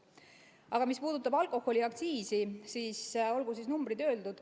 Aga mis puudutab alkoholiaktsiisi, siis olgu nüüd numbrid öeldud.